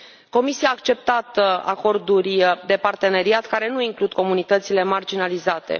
Comisia a acceptat acorduri de parteneriat care nu includ comunitățile marginalizate.